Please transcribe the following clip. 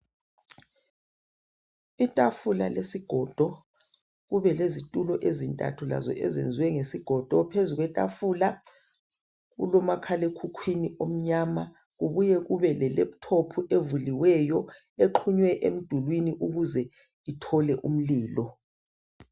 Itafula lesigodo kube lezitulo ezintathu lazo eziyenziwe ngesigodo, phezulu kwetafula kulo makhala ekhukhwini omnyama kubuye kube le laphuthophu evuliweyo exhunywe emdulwini ukuze ithole umlilo.